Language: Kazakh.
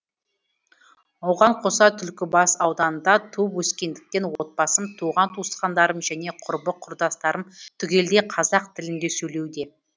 оған қоса түлкібас ауданында туып өскендіктен отбасым туған туысқандарым және құрбы құрдыстарым түгелдей қазақ тілінде сөйлеуде